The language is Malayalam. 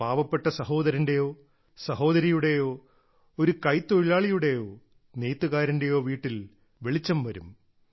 ഒരു പാവപ്പെട്ട സഹോദരന്റെയോ സഹോദരിയുടെയോ ഒരു കൈത്തൊഴിലാളിയുടെയോ നെയ്ത്തുകാരന്റെയോ വീട്ടിൽ വെളിച്ചം വരും